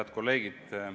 Head kolleegid!